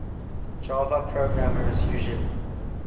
java programmers usually